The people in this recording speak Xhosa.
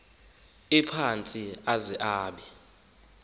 ephantsi aze abe